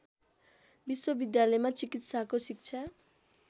विश्वविद्यालयमा चिकित्साको शिक्षा